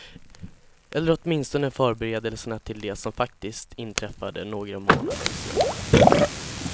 Eller åtminstone förberedelserna till det som faktiskt inträffade några månader senare.